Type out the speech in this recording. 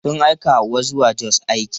Sun aika Hauwa zuwa Jos aiki.